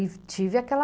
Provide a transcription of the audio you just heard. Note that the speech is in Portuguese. E tive aquela...